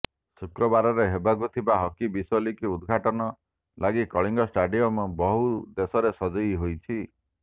ଶୁକ୍ରବାରରେ ହେବାକୁ ଥିବା ହକି ବିଶ୍ୱ ଲିଗ୍ ଉଦଘାଟନ ଲାଗି କଳିଙ୍ଗ ଷ୍ଟାଡିୟମ୍ ବୋହୂ ବେଶରେ ସଜେଇ ହୋଇଛି